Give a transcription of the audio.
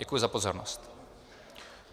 Děkuji za pozornost.